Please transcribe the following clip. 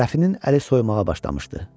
Rəfinin əli soymağa başlamışdı.